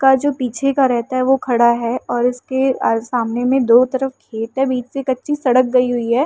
का जो पीछे का रहता है वो खड़ा है और इसके आ सामने में दो तरफ खेत है। बीच से कच्ची सड़क गयी हुई है।